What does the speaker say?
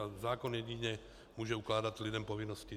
A zákon jedině může ukládat lidem povinnosti.